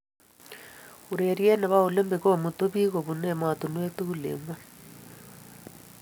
Urerie ne bo olimpik komutuu biik kobunu emotinweek tugul eng ngony.